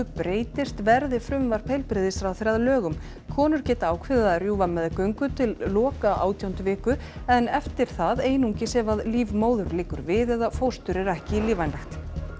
breytist verði frumvarp heilbrigðisráðherra að lögum konur geta ákveðið að rjúfa meðgöngu til loka átjándu viku en eftir það einungis ef líf móður liggur við eða fóstur er ekki lífvænlegt